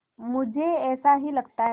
मुझे ऐसा ही लगता है